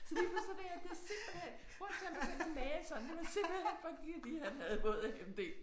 Så lige pludselig så det er det simpelthen prøv at se om du kan male sådan det var simpelthen fordi at han havde våd AMD